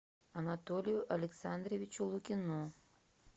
анатолию александровичу лукину